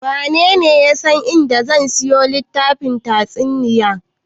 Wanene ya san a inda zan siyo littafin tatsuniya?